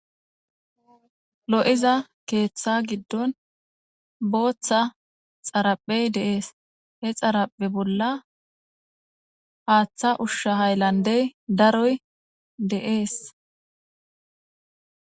Lo'iza keeththa giddon booththa xaraphey deees he xaraphe bolla haaththa ushsha hayllandey daroy dees.